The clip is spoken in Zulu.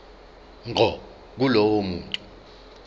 ngqo kulowo muntu